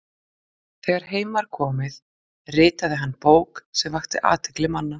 þegar heim var komið ritaði hann bók sem vakti athygli manna